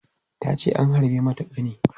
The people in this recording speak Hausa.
Ta ce an harbe mata ƙani.